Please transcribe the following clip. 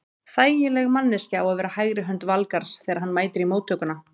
Þægileg manneskja á að vera hægri hönd Valgarðs þegar hann mætir í móttökuna.